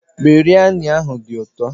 Biryani ahụ dị ụtọ